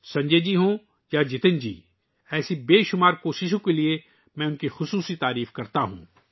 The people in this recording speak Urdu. سنجے جی ہوں یا جتن جی، میں خاص طور پر ان کی بے شمار کوششوں کے لئے ، ان کی تعریف کرتا ہوں